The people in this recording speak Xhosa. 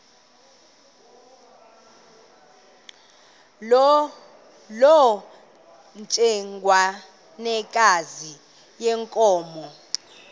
loo ntsengwanekazi yenkomo